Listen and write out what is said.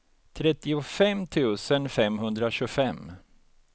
trettiofem tusen femhundratjugofem